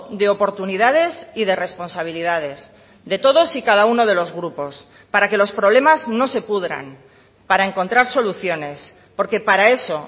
de oportunidades y de responsabilidades de todos y cada uno de los grupos para que los problemas no se pudran para encontrar soluciones porque para eso